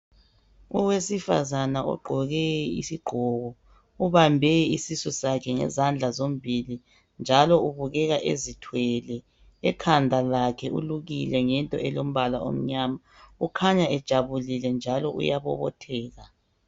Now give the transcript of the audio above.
Owesifazana ugqoke isigqoko ubambe isisusakhe ngezandla zombili njalo ubukeka ezithwele, ekhanda lakhe ulukile ngento elombala omnyama ukhanya ejabulile njalo uyabobotheka.